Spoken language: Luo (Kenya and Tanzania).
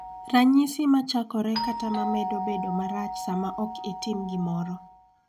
Ranyisi ma chakore kata ma medo bedo marach sama ok itim gimoro.